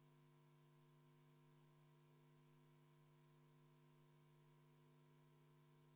Läheme muudatusettepaneku nr 3 juurde, mille on esitanud Riigikogu liige Helmen Kütt ja juhtivkomisjoni ettepanek on arvestada seda sisuliselt.